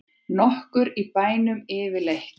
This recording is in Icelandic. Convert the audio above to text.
Nokkur í bænum yfirleitt?